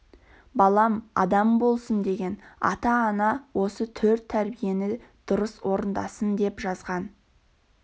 балам адам болсын деген ата-ана осы төрт тәрбиені дұрыс орындасын деп жазған